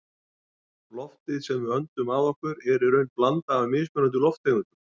Loftið sem við öndum að okkur er í raun blanda af mismunandi lofttegundum.